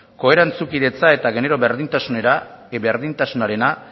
ko erantzunkidetza eta genero berdintasunarena